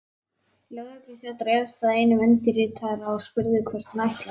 Lögregluþjónn réðst að einum undirritaðra og spurði hvert hann ætlaði.